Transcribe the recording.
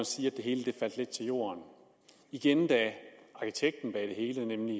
sige at det hele faldt lidt til jorden igen da arkitekten bag det hele nemlig